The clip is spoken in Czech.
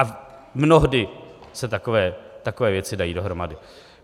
A mnohdy se takové věci dají dohromady.